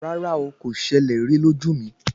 Rárá o, kò ṣẹlẹ̀ rí lójú mi.